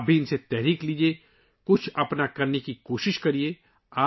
آپ بھی ان سے تحریک لیں اور خود بھی کچھ کرنے کی کوشش کریں